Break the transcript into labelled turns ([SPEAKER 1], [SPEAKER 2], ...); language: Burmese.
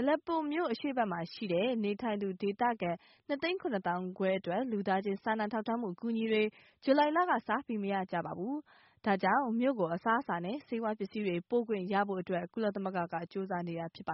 [SPEAKER 1] Aleppo မြို့ အရှေ့ ဘက်မှာနေတဲ့ နေထိုင်သူ ဒေသခံ ၂သိန်း ၇သောင်းခွဲအတွက် လူသားချင်း စာနာထောက်ထားမှု အကူအညီတွေ July လက စပြီး မရကြပါဘူး။ ဒါကြောင့် မြို့ကို အစားအစာနဲ့ ဆေးဝါးပစ္စည်းတွေ ပို့ခွင့်ရဖို့အတွက် ကုလသမဂ္ဂက ကြိုးစားနေတာ ဖြစ်ပါ